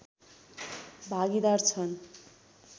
भागीदार छन्